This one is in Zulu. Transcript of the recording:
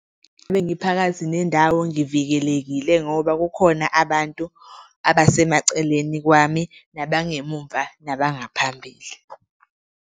Uma ngiphakathi nendawo ngivikelekile ngoba kukhona abantu abasemaceleni kwami, nabengemuva nabangaphambili.